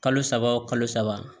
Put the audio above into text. Kalo saba kalo saba